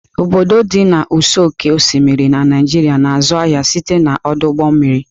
Obodo ndị dị n'ụsọ oké osimiri na Naijiria na-azụ ahịa site n'ọdụ ụgbọ mmiri.